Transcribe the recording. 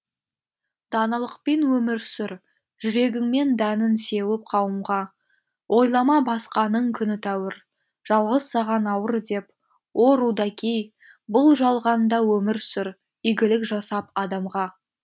даналықпен өмір сүр жүрегіңмен дәнін сеуіп қауымға ойлама басқаның күні тәуір жалғыз саған ауыр деп о рудаки бұл жалғанда өмір сүр игілік жасап адамға